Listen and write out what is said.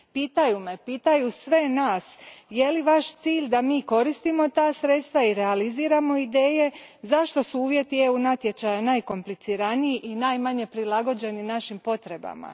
Pitaju me, pitaju sve nas, je li vaš cilj da mi koristimo ta sredstva i realiziramo ideje, zašto su uvjeti EU natječaja najkompliciraniji i najmanje prilagođeni našim potrebama?